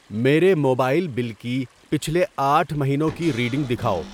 میرے mobile bill کی پچھلے آٹھ مہینوں کی ریڈنگ دکھاؤ۔